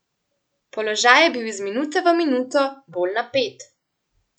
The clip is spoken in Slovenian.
Položaj je bil iz minute v minuto bolj napet.